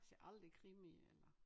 Ser aldrig krimi eller